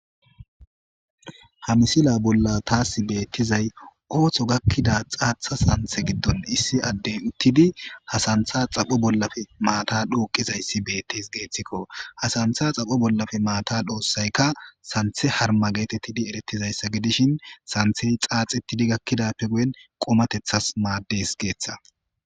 Ha misila bolla taasi beettizay ooththo gakkida xaatha santhe giddon issi addey uttidi ha santha xapho bollafe maata dhuuqizayssi beettis geeththikko hasantha xapho bollafe maata dhoossayka santhe harma geetettidi erettizayssa gidishin santhey xaaxetidi gakkidappe guyen qomatethas maaddes geeththa.